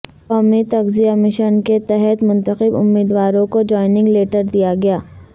قومی تغذیہ مشن کے تحت منتخب امیدواروں کو جوائنگ لیٹر دیاگیا